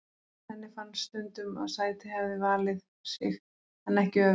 Henni fannst stundum að sætið hefði valið sig en ekki öfugt.